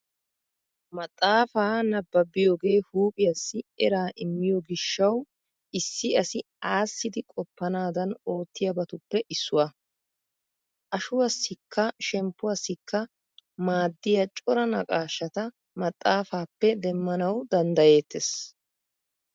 Maxaafaa nabbabiyogee huuphiyaassi eraa immiyo gishshawu issi asi aassidi qoppanaadan oottiyabatuppe issuwaa. Ashuwaassikka shemppuwaassikka maaddiya cora naqaashata maxaafaappe demmanawu danddayettees.